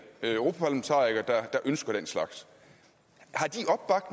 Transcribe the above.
europaparlamentarikere der ønsker den slags